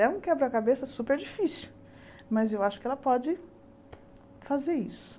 É um quebra-cabeça super difícil, mas eu acho que ela pode fazer isso.